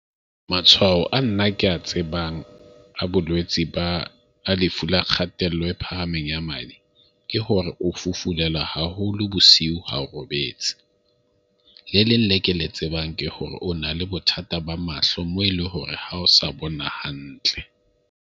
Matshwao a nna ke a tsebang a bolwetsi ba lefu la kgatello e phahameng ya madi, ke hore o fufulelwa haholo bosiu ha o robetse. Le leng le ke le tsebang ke hore o na le bothata ba mahlo mo e leng hore ha o sa bona hantle.